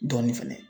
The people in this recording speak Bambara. Dɔɔnin fɛnɛ